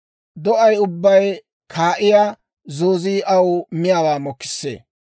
Do'ay ubbay kaa'iyaa zoozii aw miyaawaa mokissee.